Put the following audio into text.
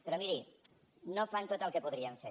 però miri no fan tot el que podrien fer